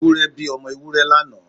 Ewúrẹ́ bí ọmọ Ewúrẹ́ lánàá.